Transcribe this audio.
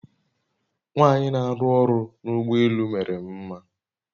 Nwanyị n'arụ ọrụ n'ụgbọ elù mere m mma